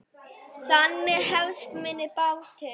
Þannig hefst minn bati.